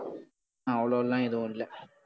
அவ்ளோலாம் ஏதும் இல்லை